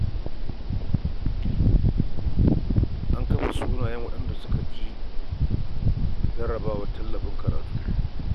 An kafe sunayen waɗanda suka ci jarrabawar tallafin karatun karatu.